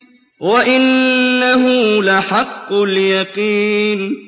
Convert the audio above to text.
وَإِنَّهُ لَحَقُّ الْيَقِينِ